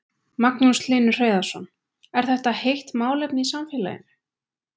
Magnús Hlynur Hreiðarsson: Er þetta heitt málefni í samfélaginu?